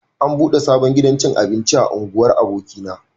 An buɗe sabon gidan cin abinci a unguwar abokina